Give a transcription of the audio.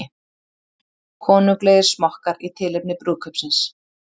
Konunglegir smokkar í tilefni brúðkaupsins